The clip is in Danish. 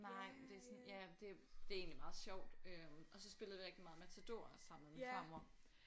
Nej det er sådan ja det er det er egentlig meget sjovt øh og så spillede vi rigtig meget Matador også sammen med min farmor